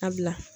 A bila